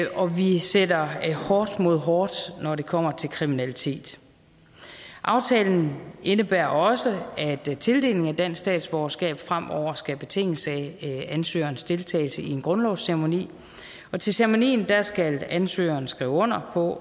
og vi sætter hårdt mod hårdt når det kommer til kriminalitet aftalen indebærer også at tildelingen af dansk statsborgerskab fremover skal betinges af ansøgerens deltagelse i en grundlovsceremoni og til ceremonien skal ansøgeren skrive under på